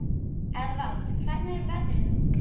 Eðvald, hvernig er veðrið úti?